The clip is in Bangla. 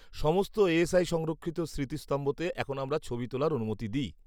-সমস্ত এএসআই সংরক্ষিত স্মৃতিস্তম্ভতে এখন আমরা ছবি তোলার অনুমতি দিই।